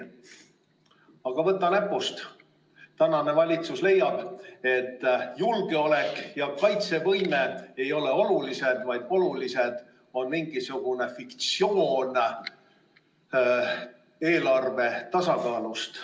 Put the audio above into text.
Aga võta näpust, tänane valitsus leiab, et julgeolek ja kaitsevõime ei ole olulised, vaid oluline on mingisugune fiktsioon eelarve tasakaalust.